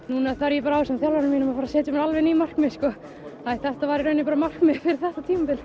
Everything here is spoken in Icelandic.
núna þarf ég ásamt þjálfaranum mínum að setja mér alveg ný markmið þetta var í raun markmiðið fyrir þetta tímabil